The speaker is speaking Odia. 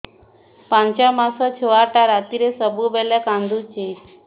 ପାଞ୍ଚ ମାସ ଛୁଆଟା ରାତିରେ ସବୁବେଳେ କାନ୍ଦୁଚି